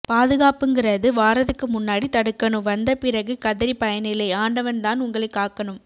பாதுகாப்புங்குறது வாரதுக்கு முன்னாடி தடுக்கணும் வந்த பிறகு கதறி பயனில்லை ஆண்டவன் தான் உங்களை காக்கணும்